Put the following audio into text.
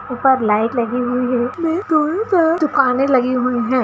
ऊपर लाइट लगी हुई हैं दुकान लगी हुई हैं।